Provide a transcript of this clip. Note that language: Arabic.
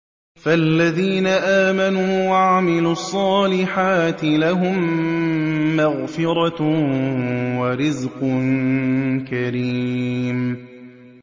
فَالَّذِينَ آمَنُوا وَعَمِلُوا الصَّالِحَاتِ لَهُم مَّغْفِرَةٌ وَرِزْقٌ كَرِيمٌ